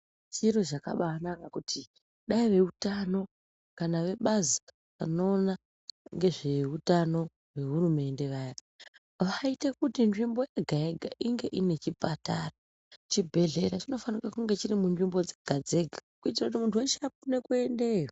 Chiro chakambaanaka kuti dai veutano kana vebazi rinoona ngezveutano vehurumende vaya vaite kuti nzvimbo yega-yega inge ine chipatara. Chibhedhlera chinofanika kunge chiri munzvimbo dzega-dzega kuitira kuti muntu weshe akone kuendeyao.